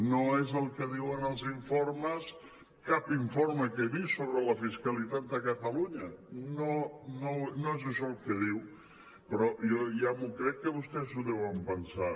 no és el que diuen els informes cap informe que he vist sobre la fiscalitat de catalu·nya no és això el que diu però jo ja m’ho crec que vostès ho deuen pensar